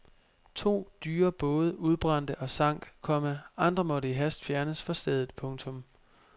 To dyre både udbrændte og sank, komma andre måtte i hast fjernes fra stedet. punktum